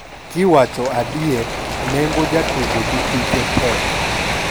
"kiwacho adier, nengo jatugo gi hike tek.